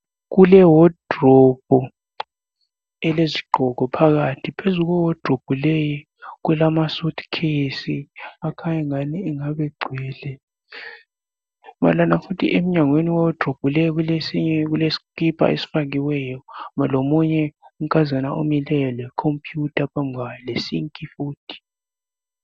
Kulewardobe elezigqoko phakathi. Phezu kwewadrobe leyi kulamasuitcase akhanye ngani engabe gcwele. Emnyango wewadrobe le kulesikipa esifakiweyo lomunye unkazana omileyo lekhompiyutha phambi kwakhe lesink futhi.